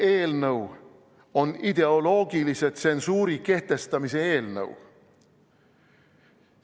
See eelnõu on ideoloogilise tsensuuri kehtestamise eelnõu.